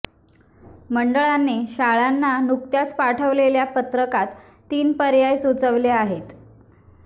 मंडळाने शाळांना नुकत्याच पाठवलेल्या पत्रकात तीन पर्याय सुचविले आहेत